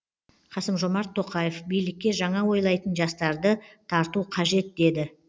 қасым жомарт тоқаев билікке жаңа ойлайтын жастарды тарту қажет деді